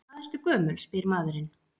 Hvað ertu gömul, spyr maðurinn.